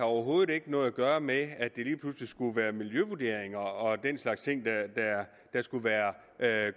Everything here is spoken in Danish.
overhovedet ikke noget at gøre med at det lige pludselig skulle være miljøvurderinger og den slags ting der skulle være